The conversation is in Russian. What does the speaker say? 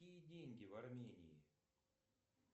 какие деньги в армении